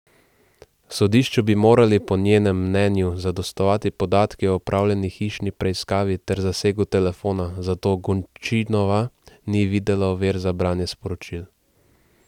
Sodišču bi morali po njenem mnenju zadostovati podatki o opravljeni hišni preiskavi ter zasegu telefona, zato Gončinova ni videla ovir za branje sporočil.